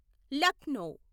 Lucknow